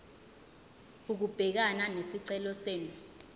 ukubhekana nesicelo senu